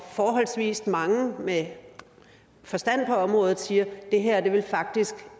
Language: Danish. forholdsvis mange med forstand på området siger at det her faktisk